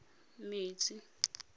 metsi